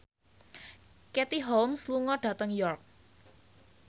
Katie Holmes lunga dhateng York